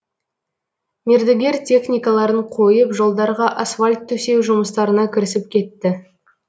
мердігер техникаларын қойып жолдарға асфальт төсеу жұмыстарына кірісіп кетті